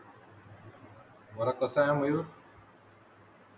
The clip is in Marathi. बरं कसा आहे मयूर